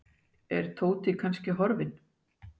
Er Tóti kannski horfinn?